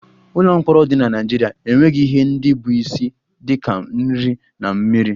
Ụlọ mkpọrọ dị na Naịjirịa enweghị ihe ndị bụ isi dị ka nri na mmiri